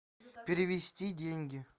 перевести деньги